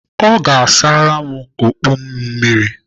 Ọ ga-asara m okpu m mmiri.